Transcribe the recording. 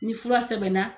Ni fura sɛbɛnna